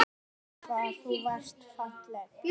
Hvað þú varst falleg.